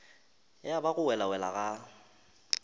ya ba go welawela ga